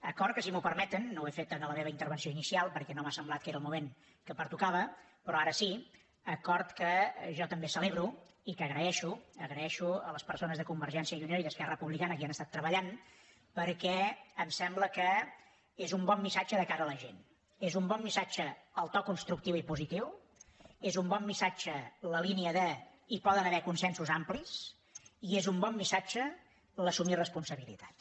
acord que si m’ho permeten no ho he fet a la meva intervenció inicial perquè no m’ha semblat que era el moment que pertocava però ara sí jo també celebro i que agraeixo agraeixo a les persones de convergència i unió i d’esquerra republicana que hi han estat treballant perquè em sembla que és un bon missatge de cara a la gent és un bon missatge el to constructiu i positiu és un bon missatge la línia de hi poden haver consensos amplis i és un bon missatge assumir responsabilitats